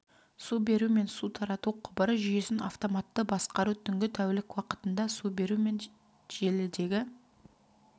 су беру мен су тарату құбыры жүйесін автоматты басқару түнгі тәулік уақытында су беру мен желідегі